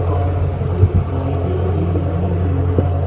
और कुछ लाइटें भी लगी हुई है।